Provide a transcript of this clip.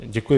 Děkuji.